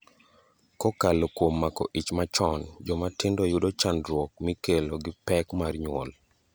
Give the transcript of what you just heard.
Kokalo kuom mako ich machon, joma tindo yudo chandruok mikelo gi pek mar nyuol.